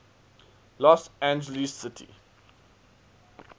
los angeles city